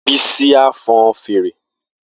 Bisi a fọn fèrè.